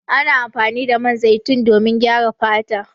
Ana amfani da man zaitun domin gyara fata.